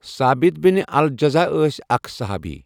ثابت بن الجذع ٲسؠ اَکھ صُحابی.